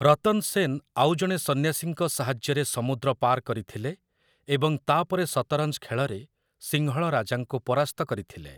ରତନ ସେନ ଆଉ ଜଣେ ସନ୍ନ୍ୟାସୀଙ୍କ ସାହାଯ୍ୟରେ ସମୁଦ୍ର ପାର କରିଥିଲେ ଏବଂ ତା'ପରେ ସତରଞ୍ଜ ଖେଳରେ ସିଂହଳ ରାଜାଙ୍କୁ ପରାସ୍ତ କରିଥିଲେ ।